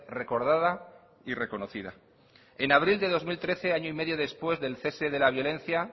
recordada y reconocida en abril de dos mil trece año y medio después del cese de la violencia